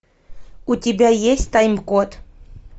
у тебя есть тайм код